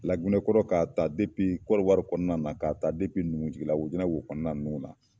Lagunɛkɔnɔ ka taa Konowari kɔnɔna na, ka taa Numujigila Wojina wo kɔnɔna ninnu na.